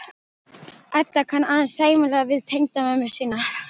Edda kann aðeins sæmilega við tengdamömmu sína.